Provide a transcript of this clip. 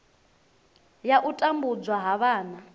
ya u tambudzwa ha vhana